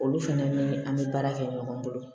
Olu fɛnɛ ni an be baara kɛ ɲɔgɔn bolo